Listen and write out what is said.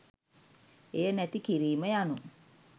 එය නැති කිරීම යනු